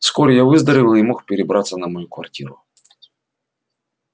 вскоре я выздоровел и мог перебраться на мою квартиру